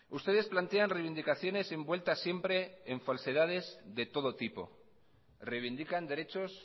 ustedes plantean reivindicaciones envueltas siempre en falsedades de todo tipo reivindican derechos